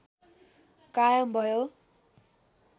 कायम भयो